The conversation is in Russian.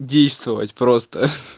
действовать просто ха-ха